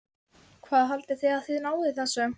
Hvað haldið þið að þið náið þessu?